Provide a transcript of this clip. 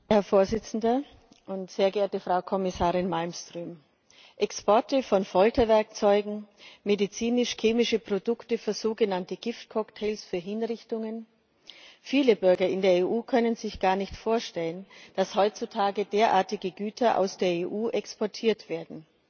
Herr Präsident, sehr geehrte Frau Kommissarin Malmström! Exporte von Folterwerkzeugen, medizinisch chemische Produkte für sogenannte Giftcocktails für Hinrichtungen viele Bürger in der EU können sich gar nicht vorstellen, dass heutzutage derartige Güter aus der EU exportiert werden.